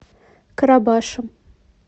карабашем